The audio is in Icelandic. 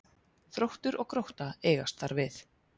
Þróttur og Grótta eigast þar við